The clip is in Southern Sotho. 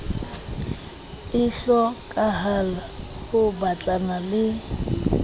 e hlokahalang ho batlana le